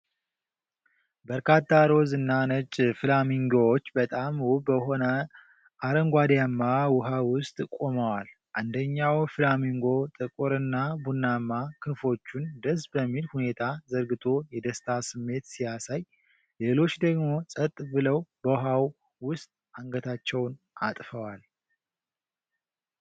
በርካታ ሮዝ እና ነጭ ፍላሚንጎዎች በጣም ውብ በሆነ አረንጓዴማ ውኃ ውስጥ ቆመዋል። አንደኛው ፍላሚንጎ ጥቁርና ቡናማ ክንፎቹን ደስ በሚል ሁኔታ ዘርግቶ የደስታ ስሜት ሲያሳይ፣ ሌሎች ደግሞ ጸጥ ብለው በውሃው ውስጥ አንገታቸውን አጥፈዋል።